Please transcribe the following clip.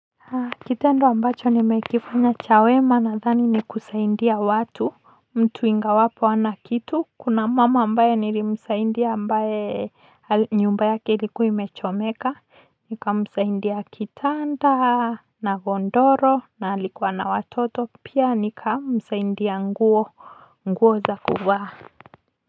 Kitendo ambacho nimekifanya cha wema nadhani ni kusaidia watu mtu ingawapo hana kitu kuna mama ambaye nilimsaidia ambaye nyumba yake ilikuwa imechomeka nikamsaidia kitanda na godoro na alikuwa na watoto pia nikamsaidia nguo nguo za kuvaa. Kwa hivyo.